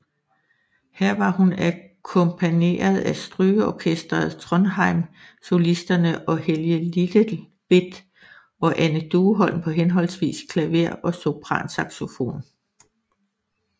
Her var hun akkompagneret af strygeorkestret Trondheim Solisterne og Helge Lilletvedt og Anne Dueholm på henholdsvis klaver og sopransaxofon